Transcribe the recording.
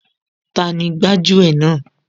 Tani gbájú ẹ̀ náà